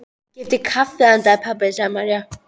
Ég keypti kaffi handa þér, pabbi, sagði María.